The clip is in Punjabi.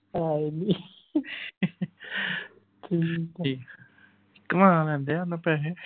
ਹਾਏ ਨੀ। ਠੀਕ। ਘੁਮਾ ਲੈਣ ਦੇ ਸਾਨੂੰ ਪੈਸੇ।